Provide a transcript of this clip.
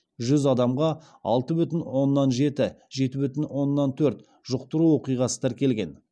жүз адамға алты бүтін оннан жеті жеті бүтін оннан төрт жұқтыру оқиғасы тіркелген